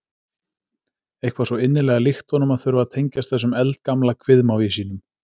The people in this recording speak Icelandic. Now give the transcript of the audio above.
Eitthvað svo innilega líkt honum að þurfa að tengjast þessum eldgamla kviðmági sínum.